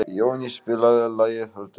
Jóný, spilaðu lagið „Höldum fast“.